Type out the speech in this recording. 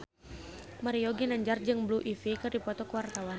Mario Ginanjar jeung Blue Ivy keur dipoto ku wartawan